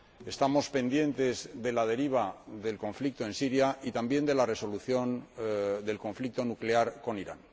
estamos pendientes de la deriva del conflicto en Siria y también de la resolución del conflicto nuclear con Irán.